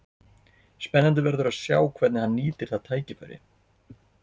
Spennandi verður að sjá hvernig hann nýtir það tækifæri.